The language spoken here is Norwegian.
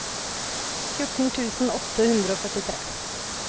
fjorten tusen åtte hundre og førtitre